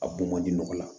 A bon man di nɔgɔ la